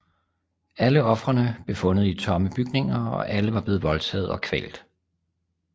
Alle ofrene blev fundet i tomme bygninger og alle var blevet voldtaget og kvalt